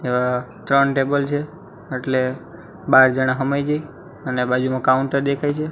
અ ત્રણ ટેબલ છે એટલે બાર જણા હમાય જઇ અને બાજુમાં કાઉન્ટર દેખાય છે.